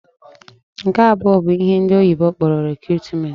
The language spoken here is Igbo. Nke abụọ bụ ihe ndị oyibo kpọrọ 'recruitment'.